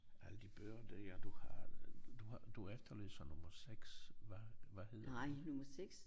Alle de bøger der du har du har du efterlyser nummer 6 hvad hvad hedder